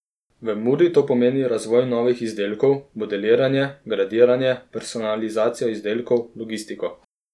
V Muri to pomeni razvoj novih izdelkov, modeliranje, gradiranje, personalizacijo izdelkov, logistiko ...